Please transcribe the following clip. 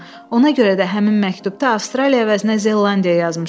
Ona görə də həmin məktubda Avstraliya əvəzinə Zelandiya yazmışam.